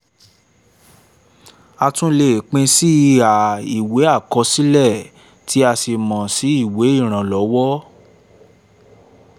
a tún lè pín sí iha ìwé àkọsílẹ̀ tí a sì mọ̀ sí ìwé ìrànlọ́wọ́